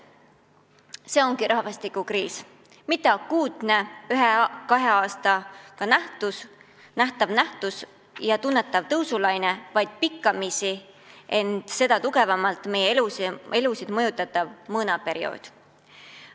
See ongi rahvastikukriis: mitte akuutne ühel-kahel aastal ilmnev nähtav nähtus, mille järel tuleb tunnetatav tõusulaine, vaid pikkamisi tugevalt meie elusid mõjutav mõõnaperiood.